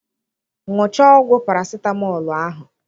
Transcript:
Ṅuchaa ọgwụb parasitamọlụ ahụ.